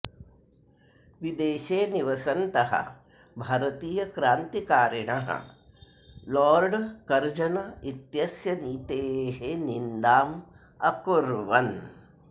विदेशे निवसन्तः भारतीयक्रान्तिकारिणः लोर्ड कर्जन् इत्यस्य नीतेः निन्दाम् अकुर्वन्